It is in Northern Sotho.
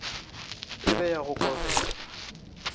e be ya go kobega